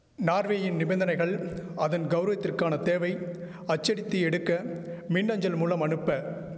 நார்வேயின் நிபந்தனைகள் அதன் கௌரவத்திற்கான தேவை அச்சடித்து எடுக்க மின் அஞ்சல் மூலம் அனுப்ப